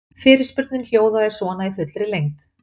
Fyrirspurnin hljóðaði svona í fullri lengd: